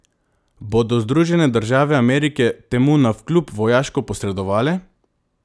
Bodo Združene države Amerike temu navkljub vojaško posredovale?